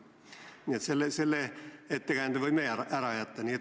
Nii et selle ettekäände võime ära jätta.